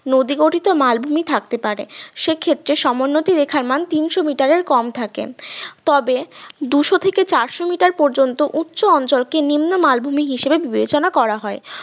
নদী গঠিত মালভূমি থাকতে পারে সে ক্ষেত্রে সমোন্নতি রেখার মান তিনশো meter এর কম থাকে তবে দুইশ থেকে চারশো meter পর্যন্ত উচ্চ অঞ্চলকে নিম্ন মালভূমি হিসেবে বিবেচনা করা হয়